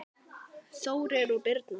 Þórir og Birna.